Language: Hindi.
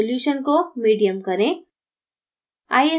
resolution को medium करें